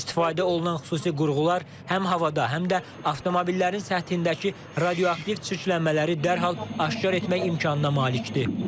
İstifadə olunan xüsusi qurğular həm havada, həm də avtomobillərin səthindəki radioaktiv çirklənmələri dərhal aşkar etmək imkanına malikdir.